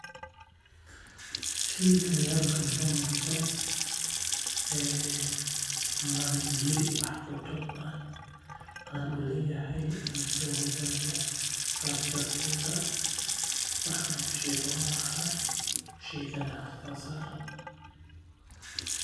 Sheygani halkan ka muuqdo malihi wax khibrad ah aan uleyahay aan kula wadaago sidaas darteed wax aan ka sheego malahan sheeygan halkan saaran.